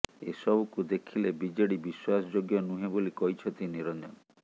ଏସବୁକୁ ଦେଖିଲେ ବିଜେଡି ବିଶ୍ୱାସ ଯୋଗ୍ୟ ନୁହେଁ ବୋଲି କହିଛନ୍ତି ନିରଂଜନ